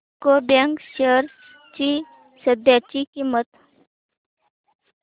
UCO bank shares ची सध्याची किंमत